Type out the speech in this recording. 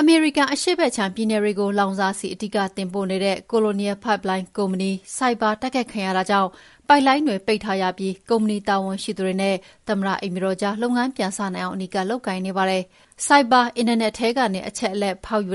အမေရိကန် အရှေ့ဘက်ခြမ်းပြည်နယ်တွေကို လောင်စာဆီ အဓိတင်ပို့နေတဲ့ Colonial Pipeline ကုမ္ပဏီ ဆိုက်ဘာ တိုက်ခိုက်ခံရတာကြောင့် ပိုက်လိုင်းတွေ ပိတ်ထားရပြီး ကုမ္ပဏီတာဝန်ရှိသူတွေနဲ့ သမ္မတအိမ်ဖြူတော်ကြား လုပ်ငန်းပြန်စနိုင်အောင် အနီးကပ်လုပ်ကိုင်နေပါတယ်။ ဆိုက်ဘာအင်တာနက်ထဲကနေ အချက်အလက်ဖောက်ယူ